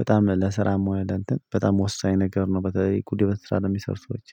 በጣም ለስራም ሆነ ለእንትን በጣም ወሳኝ ነገር ነው። በተለይ ኩድ የሆነ ስራ ለሚሰር ሰዎች